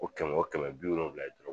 O kɛmɛ o kɛmɛ bi wolonwula ye dɔrɔ